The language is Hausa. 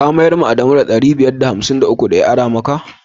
Ka mayar da wa adamu ɗari biyar da hamsin da uku da ya ara maka?